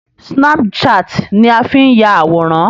Snapchat ni a fi ń ya àwòrán.